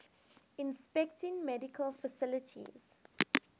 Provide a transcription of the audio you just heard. inspecting medical facilities